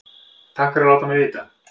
Takk fyrir að láta mig vita